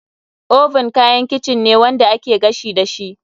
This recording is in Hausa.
Oven kayan kicin ne wanda ake gashi dashi.